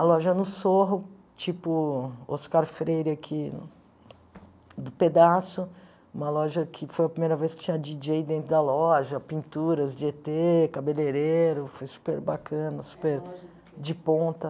A loja no Sorro, tipo Oscar Freire aqui do pedaço, uma loja que foi a primeira vez que tinha díi djei dentro da loja, pinturas de ê tê, cabeleireiro, foi super bacana, super de ponta.